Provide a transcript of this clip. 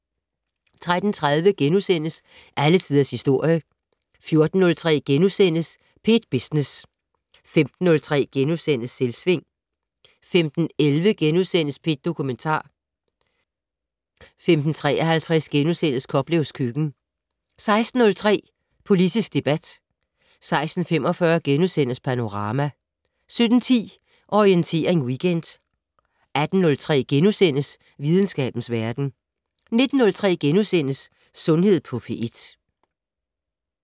13:30: Alle Tiders Historie * 14:03: P1 Business * 15:03: Selvsving * 15:11: P1 Dokumentar * 15:53: Koplevs køkken * 16:03: Politisk debat 16:45: Panorama * 17:10: Orientering Weekend 18:03: Videnskabens Verden * 19:03: Sundhed på P1 *